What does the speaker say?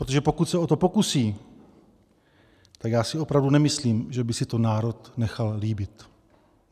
Protože pokud se o to pokusí, tak já si opravdu nemyslím, že by si to národ nechal líbit.